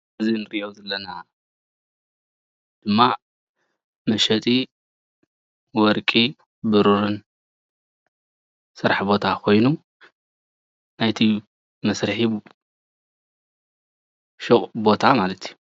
እዚ እንሪኦ ዘለና ድማ መሸጢ ወርቂን ብሩርን ስራሕ ቦታ ኾይኑ ናይቲ መስርሒ ሹቅ ቦታ ማለት እዩ።